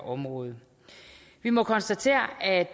området vi må konstatere at